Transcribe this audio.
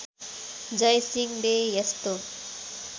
जय सिंहले यस्तो